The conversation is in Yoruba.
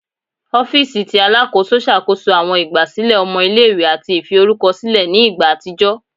Ọ̀fiisi tí Alákóso ṣàkóso àwọn ìgbà sílẹ̀ ọmọ ilé-ìwé àti ìfi orúkọ sílẹ̀ ní ìgbà àtijọ́